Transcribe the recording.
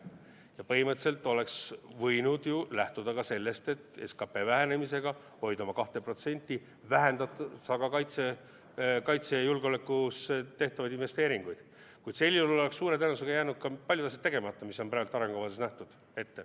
Ja põhimõtteliselt oleks võinud ju lähtuda ka sellest, et SKP vähenemisega hoida oma 2% vähendades kaitsesse ja julgeolekusse tehtavaid investeeringuid, kuid sel juhul oleks suure tõenäosusega jäänud ka paljud asjad tegemata, mis on praegu arengukavas ette nähtud.